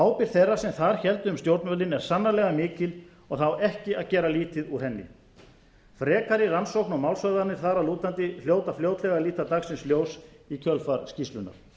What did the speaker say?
ábyrgð þeirra sem þar héldu um stjórnvölinn er sannarlega mikil og það á ekki að gera lítið úr henni frekari rannsókn og málshöfðanir þar að lútandi hljóta fljótlega að líta dagsins ljós í kjölfar skýrslunnar